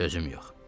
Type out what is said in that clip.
Sözüm yox.